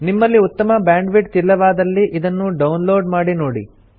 ನಿಮ್ಮಲ್ಲಿ ಉತ್ತಮ ಬ್ಯಾಂಡ್ವಿಡ್ತ್ ಇಲ್ಲವಾದಲ್ಲಿ ಇದನ್ನು ಡೌನ್ ಲೋಡ್ ಮಾಡಿ ನೋಡಿ